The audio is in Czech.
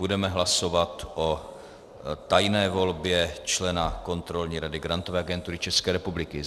Budeme hlasovat o tajné volbě člena Kontrolní rady Grantové agentury České republiky.